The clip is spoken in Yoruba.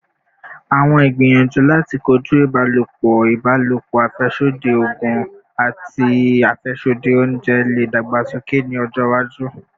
Awọn igbiyanju lati koju ibalopọ ibalopo, afẹsodi oogun, ati afẹsodi ounjẹ le dagbasoke ni ọjọ iwaju